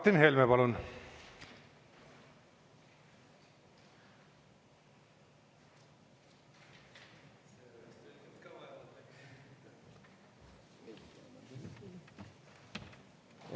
Martin Helme, palun!